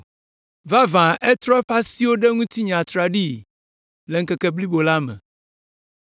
Vavã etrɔ eƒe asiwo ɖe ŋutinye atraɖii le ŋkeke blibo la me.